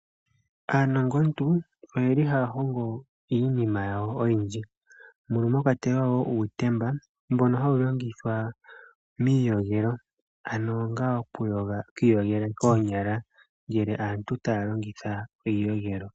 Aanongontu oyeli haya hongo iinima yawo oyindji mono mwakwatelwa uutemba mbono hawu longithwa miiyogelo onga oku iyogela koonyala ngele aantu taya longitha iiyogelo.